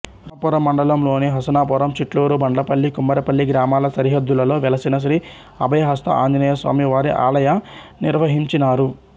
రామాపురం మండలంలోని హసనాపురం చిట్లూరు బండ్లపల్లి కుమ్మరిపల్లి గ్రామాల సరిహద్దులలో వెలసిన శ్రీ అభయహస్త ఆంజనేయస్వామివారి ఆలయ నిర్వహించినారు